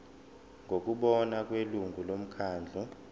ngokubona kwelungu lomkhandlu